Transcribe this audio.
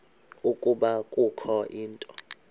ukuba kukho into